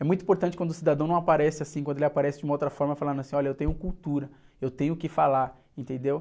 É muito importante quando o cidadão não aparece assim, quando ele aparece de uma outra forma, falando assim, olha, eu tenho cultura, eu tenho o quê falar, entendeu?